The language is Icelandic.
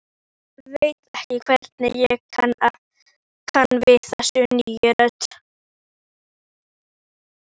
Ég veit ekki hvernig ég kann við þessa nýju rödd.